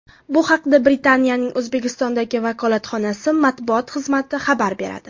Bu haqda Britaniyaning O‘zbekistondagi vakolatxonasi matbuot xizmati xabar beradi.